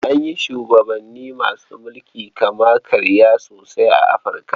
An yi shubabanni masu mulkin kama-karya sosai a Afirka.